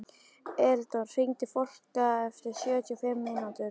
Eldon, hringdu í Fólka eftir sjötíu og fimm mínútur.